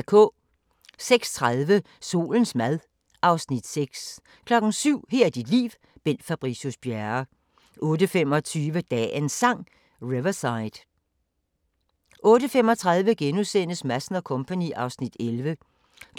06:30: Solens mad (Afs. 6) 07:00: Her er dit liv – Bent Fabricius Bjerre 08:25: Dagens Sang: Riverside 08:35: Madsen & Co. (Afs. 11)*